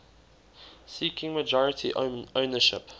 seeking majority ownership